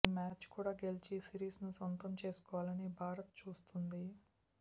ఈ మ్యాచ్ కూడా గెలిచి సిరీస్ను సొంతం చేసుకోవాలని భారత్ చూస్తోంది